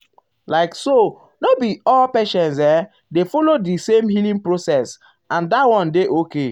like so no be all patients[um]dey follow the same healing process and um dat one dey okay.